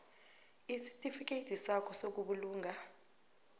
isitifikedi sakho sobulunga